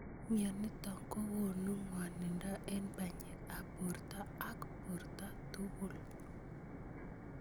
Mnyenotok kokonu ng'wanindo eng banyek ab borto ak borto tugul.